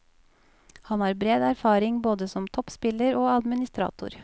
Han har bred erfaring både som toppspiller og administrator.